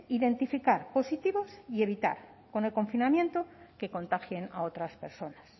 identificar positivos y evitar con el confinamiento que contagien a otras personas